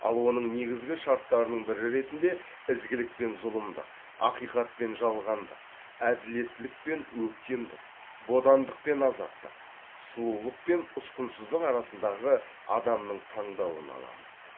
ал оның негізгі шарттарының бірі ретінде ізгілік пен зұлымдық ақиқат пен жалғандық әділеттілік пен өктемдік бодандық пен азаттық сұлулық пен ұсқынсыздық арасындағы адамның таңдауын аламыз